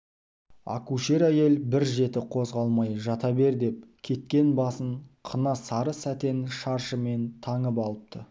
акушер әйел бір жеті қозғалмай жата бер деп кеткен басын қына сары сәтен шаршымен таңып алыпты